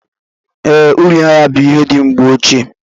Ee, uri anya bú ihe ndị mgbe ochie